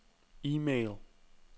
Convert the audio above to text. e-mail